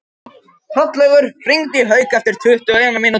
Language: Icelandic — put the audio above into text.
Hrollaugur, hringdu í Hauk eftir tuttugu og eina mínútur.